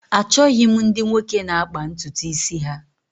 Achọghị m ndị nwoke na-akpà ntutu isi ha